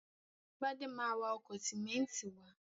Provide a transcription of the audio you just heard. Gbadé ma wa ọkọ̀ sìmẹ́ńtì wá.